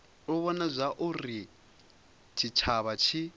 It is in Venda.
u vhona zwauri tshitshavha tshi